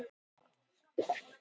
Bretarnir tregðuðust við.